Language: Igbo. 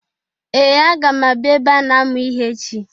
Ee! Aga m abịa ebe a na-amụ ihe echi.